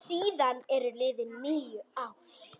Síðan eru liðin níu ár.